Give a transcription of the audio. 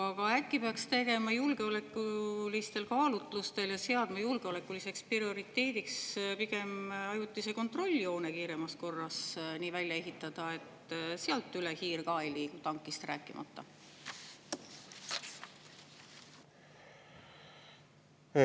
Aga äkki peaks julgeolekulistel kaalutlustel seadma prioriteediks pigem ajutine kontrolljoon kiiremas korras nii välja ehitada, et sealt hiir ka üle ei liigu, tankist rääkimata?